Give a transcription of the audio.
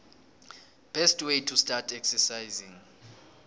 best way to start exercising